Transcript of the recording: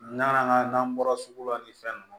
N'an ka n'an bɔra sugu la ni fɛn nunnu